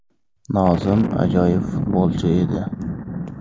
Nozim ajoyib futbolchi edi.